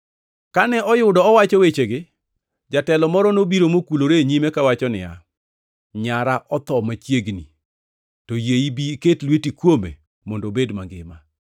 Kane oyudo owacho wechegi, jatelo moro nobiro mokulore e nyime kawacho niya, “Nyara otho machiegni. To yie ibi iket lweti kuome mondo obed mangima.”